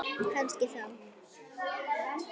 Kannski þá.